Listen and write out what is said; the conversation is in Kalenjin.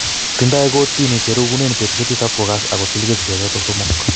Tindo kortini cherekunen betusiek tisap kokas ak kotil kesisiek chotok somok.